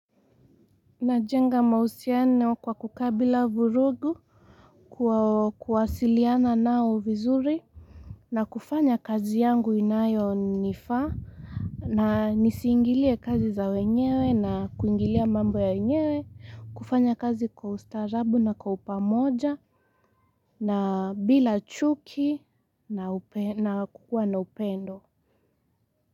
Najenga mahusiano kwa kukaa bila vurugu. Kwa kuwasiliana nao vizuri na kufanya kazi yangu inayonifaa na nisiingilie kazi za wenyewe na kuingilia mambo ya wenyewe kufanya kazi kwa ustarahabu na kwa upamoja na bila chuki na kukuwa na upendo. Muziki.